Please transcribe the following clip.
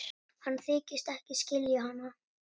Hann þykist ekki skilja hana.